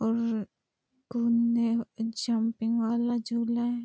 और घूमने and jumping वाला झूला है ।